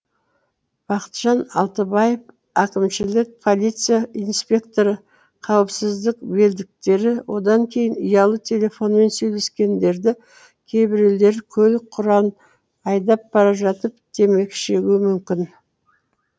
бақытжан алтыбаев әкімшілік полиция инспекторы қауіпсіздік белдіктері одан кейін ұялы телефонмен сөйлескендері кейбіреулері көлік құралын айдап бара жатып темекі шегуі мүмкін